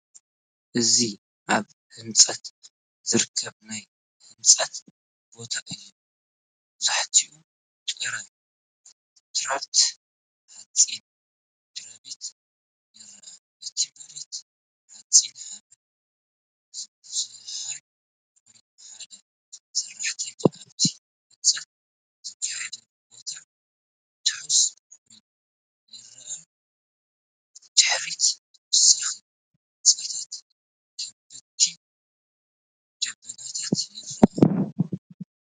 እዚ ኣብ ህንፀት ዝርከብ ናይ ህንፀት ቦታ እዩ። መብዛሕትኡ ጥረ ኮንክሪትን ሓጺንን ምድሪቤት ይረአ። እቲ መሬት ሑጻን ሓመድ ዝበዝሖን ኮይኑ፡ ሓደ ሰራሕተኛ ኣብቲ ህንጸት ዝካየደሉ ቦታ ትሑዝ ኮይኑ ይረአ። ብድሕሪት ተወሳኺ ህንጻታትን ከበድቲ ደበናታትን ይርአ።